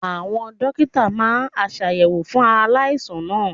Àwọn Dókítà máa aṣàyẹ̀wò fún aláìsàn náà.